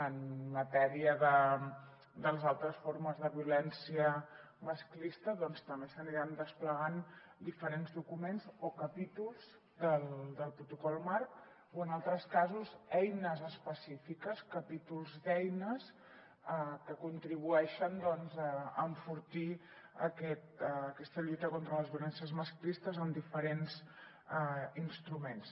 en matèria de les altres formes de violència masclista doncs també s’aniran desplegant diferents documents o capítols del protocol marc o en altres casos eines específiques capítols d’eines que contribueixen a enfortir aquesta lluita contra les violències masclistes amb diferents instruments